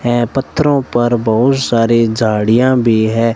हैं पत्थरों पर बहुश सारी झाड़ियां भी है।